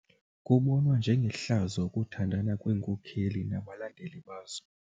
Kubonwa njengehlazo ukuthandana kweenkokeli nabalandeli bazo.